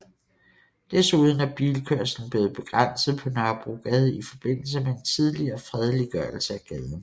Desuden er bilkørslen blevet begrænset på Nørrebrogade i forbindelse med en tidligere fredeliggørelse af gaden